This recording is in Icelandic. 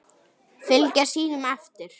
Fylgja sínum eftir.